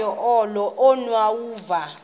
unyawuza